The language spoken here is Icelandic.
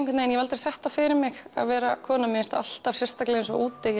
ég hef aldrei sett það fyrir mig að vera kona mér finnst það alltaf sérstaklega eins og úti